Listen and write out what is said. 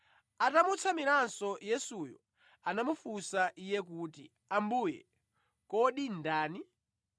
Atamutsamiranso Yesuyo, anamufunsa Iye kuti, “Ambuye, kodi ndani?”